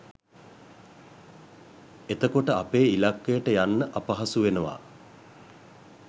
එතකොට අපේ ඉල්ලකයට යන්න අපහසු වෙනවා